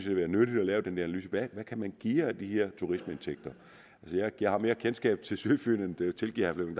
være nyttigt at lave den analyse hvad man kan geare af de her turismeindtægter jeg har mere kendskab til sydfyn og det tilgiver herre